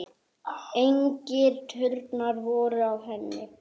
Engir turnar voru á henni.